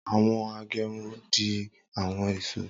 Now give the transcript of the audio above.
Awọn agekuru di awọn ìṣó.